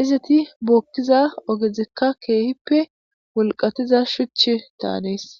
iziti bookkiza ogezikka keehippe wolqatiza shuch daanees